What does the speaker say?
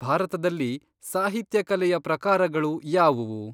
ಭಾರತದಲ್ಲಿ ಸಾಹಿತ್ಯ ಕಲೆಯ ಪ್ರಕಾರಗಳು ಯಾವುವು?